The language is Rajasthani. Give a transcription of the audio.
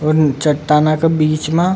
उन चट्टाना का बिच में --